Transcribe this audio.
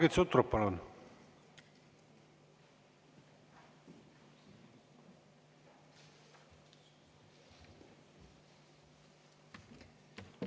Margit Sutrop, palun!